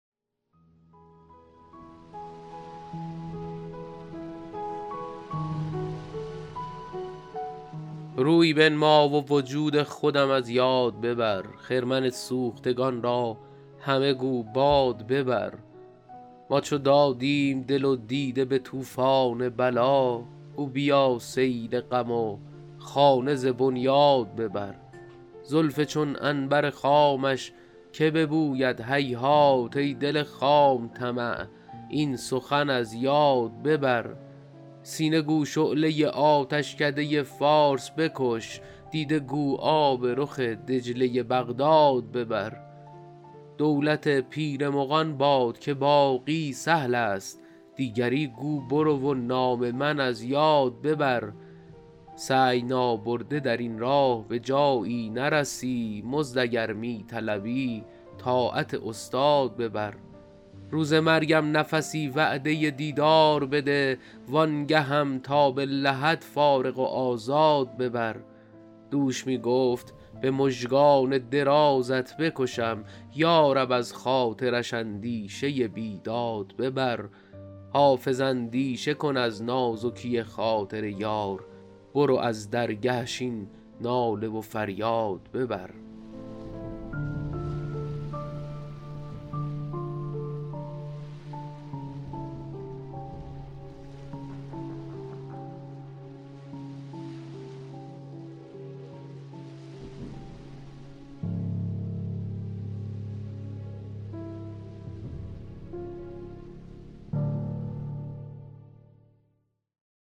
روی بنمای و وجود خودم از یاد ببر خرمن سوختگان را همه گو باد ببر ما چو دادیم دل و دیده به طوفان بلا گو بیا سیل غم و خانه ز بنیاد ببر زلف چون عنبر خامش که ببوید هیهات ای دل خام طمع این سخن از یاد ببر سینه گو شعله آتشکده فارس بکش دیده گو آب رخ دجله بغداد ببر دولت پیر مغان باد که باقی سهل است دیگری گو برو و نام من از یاد ببر سعی نابرده در این راه به جایی نرسی مزد اگر می طلبی طاعت استاد ببر روز مرگم نفسی وعده دیدار بده وآن گهم تا به لحد فارغ و آزاد ببر دوش می گفت به مژگان درازت بکشم یا رب از خاطرش اندیشه بیداد ببر حافظ اندیشه کن از نازکی خاطر یار برو از درگهش این ناله و فریاد ببر